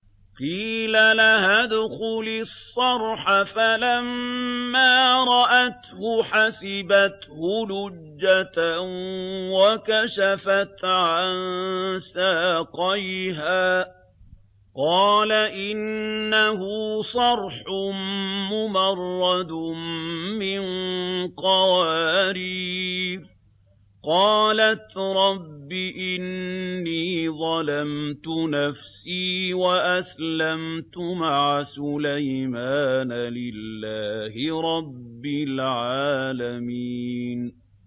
قِيلَ لَهَا ادْخُلِي الصَّرْحَ ۖ فَلَمَّا رَأَتْهُ حَسِبَتْهُ لُجَّةً وَكَشَفَتْ عَن سَاقَيْهَا ۚ قَالَ إِنَّهُ صَرْحٌ مُّمَرَّدٌ مِّن قَوَارِيرَ ۗ قَالَتْ رَبِّ إِنِّي ظَلَمْتُ نَفْسِي وَأَسْلَمْتُ مَعَ سُلَيْمَانَ لِلَّهِ رَبِّ الْعَالَمِينَ